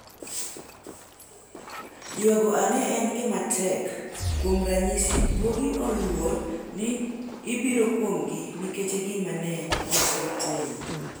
Ywago ang'e en gima tek - ⁠kuom ranyisi, guogi oluor ni ibiro kumgi nikech gima ne ok gitimo.